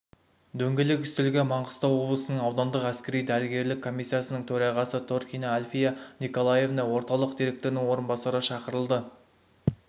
дөңгелек үстелге маңғыстау облысының аудандық әскери-дәрігерлік комиссиясының төрағасы торкина альфия николаевна орталық директорының орынбасары шақырылды